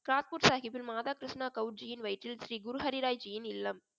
கிராத்பூர் சாஹிப்பின் மாதா கிருஷ்ணா கவ்ஜியின் வயிற்றில் ஸ்ரீ குரு ஹரிராய்ஜியின் இல்லம்